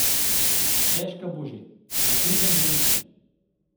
Težka bo že, da pridem do ničle.